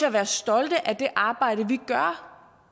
at være stolte af det arbejde vi gør